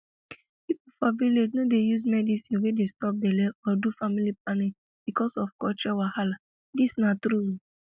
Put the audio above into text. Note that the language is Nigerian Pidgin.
people for village no dey use medicine wey dey stop belle or do family planning because of culture wahala this na true o